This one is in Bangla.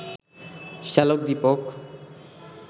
শ্যালক দীপক